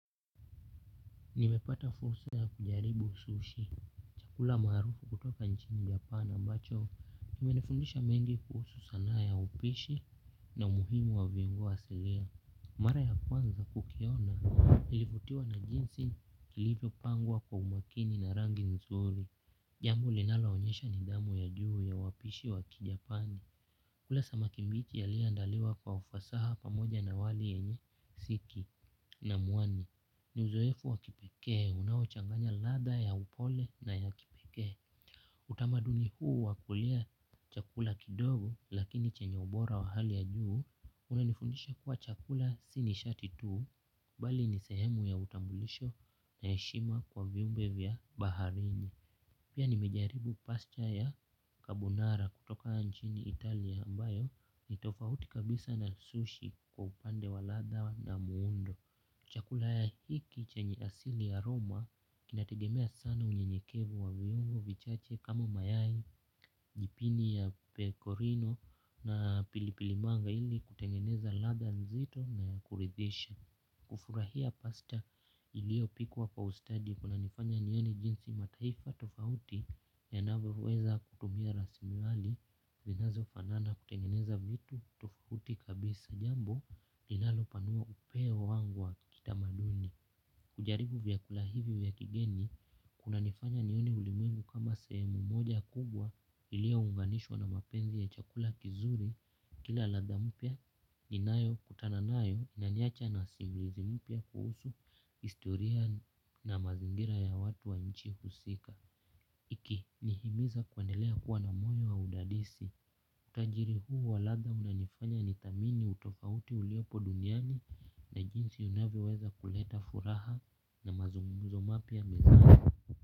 Nimepata fursa ya kujaribu usushi. Chakula maarufu kutoka nchi japan ambacho. Imenifundisha mengi kuhusu sanaa ya upishi na umuhimu wa viungo asilia. Mara ya kwanza ukiona ilivutiwa na jinsi ilivyopangwa kwa umakini na rangi nzuri. Jambo linaloonyesha nidhamu ya juu ya wapishi wa kijapani. Kula samaki mbichi yaliyoandaliwa kwa ufasaha pamoja na wali yenye siki na muani. Ni uzoefu wa kipekee unaochanganya ladha ya upole na ya kipekee. Utamaduni huu wa kulia chakula kidogo lakini chenye ubora wa hali ya juu. Kwani huishi kuwa chakula si nishati tuu. Bali ni sehemu ya utambulisho na heshima kwa viumbe vya baharini. Pia nimejaribu pasta ya kabunara kutoka nchini Italia ambayo ni tofauti kabisa na sushi kwa upande wa ladha na muundo chakula ya hiki chenye asili ya roma kinategemea sana unyenyekevu wa viuongo vichache kama mayai, jipini ya pecorino na pilipilimanga ili kutengeneza ladha nzito na ya kuridhisha. Kufurahia pasta iliyopikwa kwa ustadi kuna nifanya nione jinsi mataifa tofauti yanavyoweza kutumia rasilimali. Vinazo fanana kutengeneza vitu tofauti kabisa jambo linalo panua upeo wangu wa kitamaduni. Kujaribu vyakula hivi vya kigeni kunanifanya nioni ulimwengu kama sehemu moja kubwa iliyo unganishwa na mapenzi ya chakula kizuri. Kila ladha mpya ninayokutana nayo naniacha na usingizi mpya kuhusu historia na mazingira ya watu wa inchi husika. Iki nihimiza kuendelea kuwa na mwanya wa udadisi utajiri huu wa ladha umenifanya nidhamini utofauti uliopo duniani na jinsi unavyoweza kuleta furaha na mazungumzo mapya mezani.